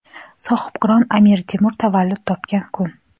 sohibqiron Amir Temur tavallud topgan kun.